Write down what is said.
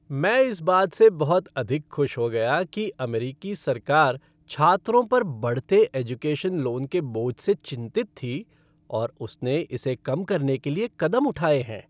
मैं इस बात से बहुत अधिक खुश हो गया कि अमेरिकी सरकार छात्रों पर बढ़ते एजुकेशन लोन के बोझ से चिंतित थी और उसने इसे कम करने के लिए कदम उठाए हैं।